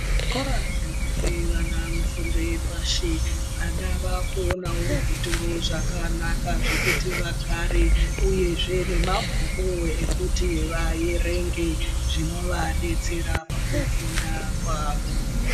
Zvikora zvinope vana fundo yepashi vana vakuonawo zvituro zvakanaka zvekuti vagare uyezve nemabhuku ekuti vaerenge zvinovadetsera pakufunda kwavo.